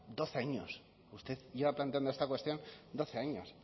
doce años usted lleva planteando esta cuestión doce años